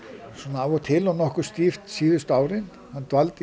af og til að nokkuð stíft síðustu árin hann dvaldi